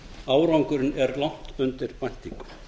árangurinn er langt undir væntingum